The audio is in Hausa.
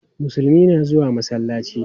Musulmai na zuwa masallaci.